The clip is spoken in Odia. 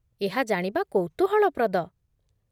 ଏହା ଜାଣିବା କୌତୁହଳପ୍ରଦ।